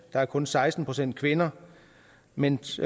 der er kun seksten procent kvinder mens